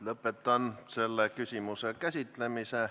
Lõpetan selle küsimuse käsitlemise.